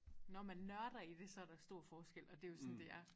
Når man nørder i det så der stor forskel og det jo sådan det er